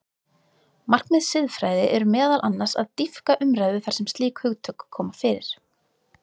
Markmið siðfræði er meðal annars að dýpka umræðu þar sem slík hugtök koma fyrir.